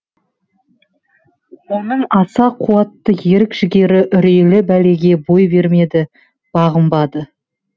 оның аса қуатты ерік жігері үрейлі бәлеге бой бермеді бағынбады